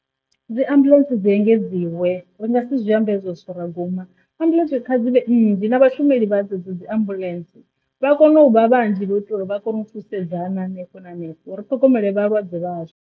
Dzi ambuḽentse dzi engedziwa uri ri nga si zwi amba hezwo zwithu ra guma ambuḽentse kha dzi nnzhi na vhashumeli vha dzedzo dzi ambuḽentse vha kone u vha vhanzhi lwa u itela uri vha kone u thusedza hana hanefho na hanefho ri ṱhogomele vhalwadze vhazwo.